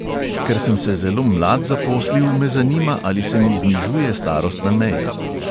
Ker sem se zelo mlad zaposlil, me zanima, ali se mi znižuje starostna meja.